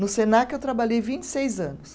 No Senac, eu trabalhei vinte e seis anos.